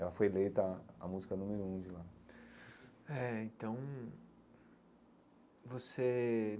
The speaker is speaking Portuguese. Ela foi eleita a música número um de lá eh então você.